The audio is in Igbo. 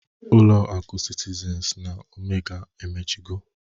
Ụlọ akụ sitizinz na omega emechigo.